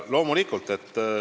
Loomulikult.